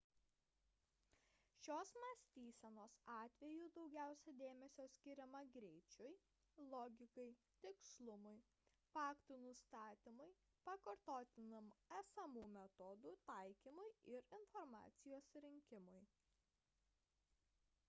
šios mąstysenos atveju daugiausia dėmesio skiriama greičiui logikai tikslumui faktų nustatymui pakartotiniam esamų metodų taikymui ir informacijos rinkimui